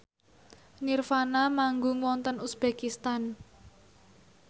nirvana manggung wonten uzbekistan